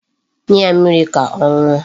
Nye ya mmiri ka ọ ṅụọ.